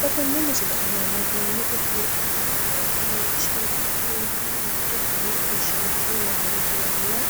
Xa tenne missile aana worroonniri buunxe la'nanni woyiite leellishshanni noori ninkera mitte fanne ofoshshiinshe worroonnita yanna